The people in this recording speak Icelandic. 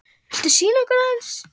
Viltu sýna okkur aðeins?